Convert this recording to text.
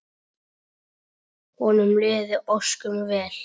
Honum liði ósköp vel.